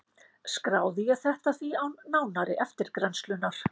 Skráði ég þetta því án nánari eftirgrennslunar.